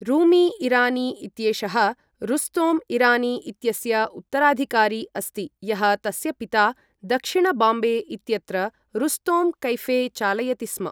रूमी इरानी इत्येषः रुस्तोम् इरानी इत्यस्य उत्तराधिकारी अस्ति यः तस्य पिता, दक्षिण बाम्बे इत्यत्र रुस्तोम् कैफ़े चालयति स्म।